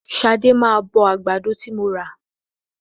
Ṣadé máa bọ àgbàdo ti mo rà.